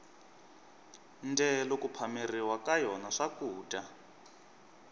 ndyelo ku phameriwa ka yona swakudya